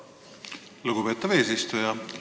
Lugupeetav eesistuja!